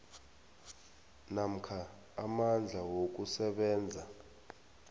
namkha amandla wokusebenza